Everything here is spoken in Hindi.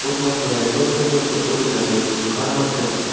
बहोत मस्त घर है कोई दिक्कत नहीं हमको कोई दिक्कत नहीं घर मस्त है तो.